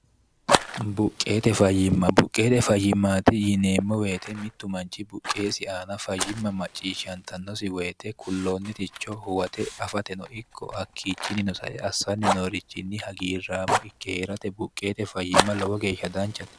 buqqeete fayyimma buqqeete fayyimmaati yiineemmo woyite mittu manchi buqqeesi aana fayyimma macciishshantannosi woyite kulloonniticho huwate afate no ikko hakkiichinnino sae assanni noorichinni hagiirraamo ikkeerate buqqeete fayyimma lowo geeshsha danchate